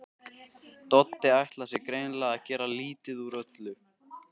Doddi ætlar sér greinilega að gera lítið úr öllu.